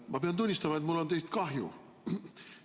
Ma pean tunnistama, et mul on teist kahju.